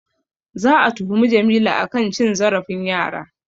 Za'a tuhumi Jamilu a kan cin zarafin yara.